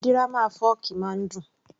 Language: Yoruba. Dírámà fọ́ọ̀kì máa ń dùn